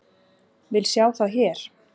Vil sjá það hér!